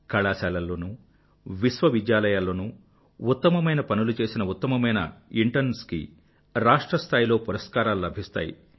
కళాశాలల్లోనూ విశ్వవిద్యాలయాలలోనూ ఉత్తమమైన పనులు చేసిన ఉత్తమమైన ఇంటర్న్స్ కి రాష్ట్ర స్థాయిలో పురస్కారాలు లభిస్తాయి